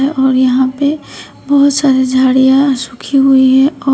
और यहां पे बहुत सारी झाड़ियां सूखी हुई हैं।